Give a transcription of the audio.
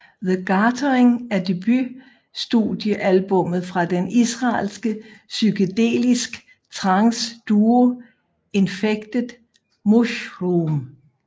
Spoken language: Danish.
The Gathering er debut studie albummet fra den israelske psykedelisk trance duo Infected Mushroom